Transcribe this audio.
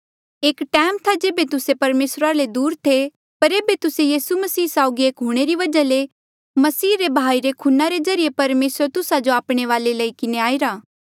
एक टैम था जेबे तुस्से परमेसरा ले दूर थे पर ऐबे तुस्से यीसू मसीह साउगी एक हूंणे री वजहा ले मसीह रे बहाईरे खूना रे ज्रीए परमेसर तुस्सा जो आपणे वाले लेई किन्हें आईरा